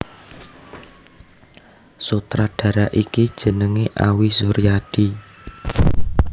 Sutradara iki jenengé Awi Suryadi